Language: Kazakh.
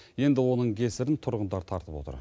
енді оның кесірін тұрғындар тартып отыр